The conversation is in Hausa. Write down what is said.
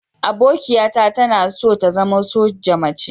Abokiata tana so ta zama soja mace.